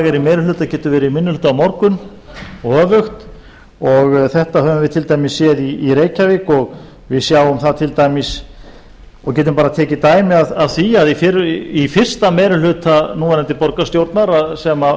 í meiri hluta getur verið í minni hluta á morgun og öfugt þetta höfum við til dæmis séð í reykjavík við sjáum það til dæmis og getum bara tekið dæmi af því að í fyrsta meiri hluta núverandi borgarstjórnar sem samanstóð